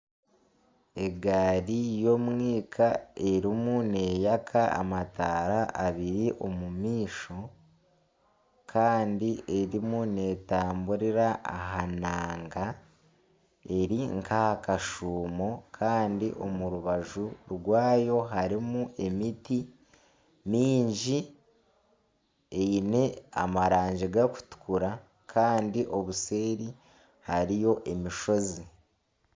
Egaari y'omwika erimu neyaka amataara abiri omu maisho kandi erimu netamburira aha naaga eri nka aha kashuumo kandi omu rubaju rwayo harimu emiti mingi eine amaragi gakutukura kandi obuseeri hariyo emishozi.